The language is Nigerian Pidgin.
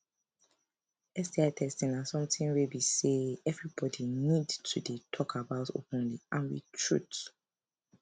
sti testing na something wey be say everybody need to dey talk about openly and with truth